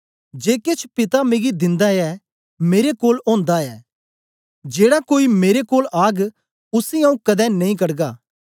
जे केछ पिता मिगी दिंदा ऐ मेरे कोल ओंदा ऐ जेड़ा कोई मेरे कोल आग उसी आऊँ कदें नेई कढगा